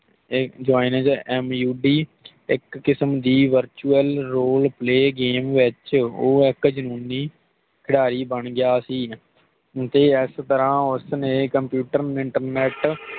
ਤੇ joins M U P ਇਕ ਕਿਸਮ ਦੀ ਵਰਚੁਅਲ ਰੋਲੇ ਪਲੇਗੇਮ ਵਿਚ ਉਹ ਇਕ ਜਨੂੰਨੀ ਖਿਲਾੜੀ ਬਣ ਗਿਆ ਸੀ ਤੇ ਇਸ ਤਰਾਹ ਉਸ ਨੇ ਕੰਪਿਊਟਰ ਇੰਟਰਨੇਟ